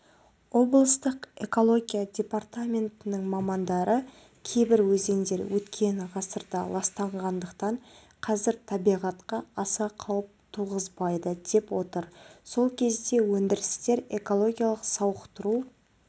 облыстық экология департаментінің мамандары кейбір өзендер өткен ғасырда ластанғандықтан қазір табиғатқа аса қауіп туғызбайды деп отыр сол кезде өндірістер экологиялық сауықтыру